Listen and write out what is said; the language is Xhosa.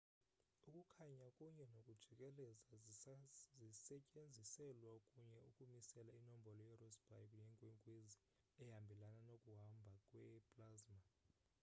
ukukhanya kunye nokujikeleza zisetyenziselwa kunye ukumisela inombolo yerossby yenkwenkwezi ehambelana nokuhamba kwe plasma